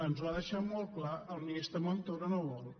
ens ho ha deixat molt clar el ministre montoro no vol